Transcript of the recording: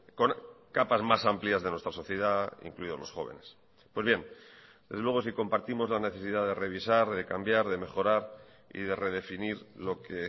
con capas más amplias de nuestra sociedad incluidos los jóvenes pues bien desde luego sí compartimos la necesidad de revisar de cambiar de mejorar y de redefinir lo que